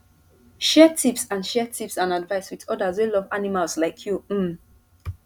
share tips and share tips and advice with others wey love animals like you um